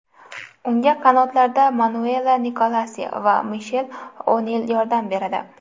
Unga qanotlarda Manuela Nikolosi va Mishel O‘Nil yordam beradi.